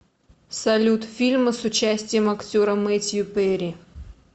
салют фильмы с участием актера метью перри